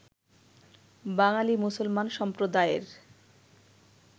বাঙালি মুসলমান সম্প্রদায়ের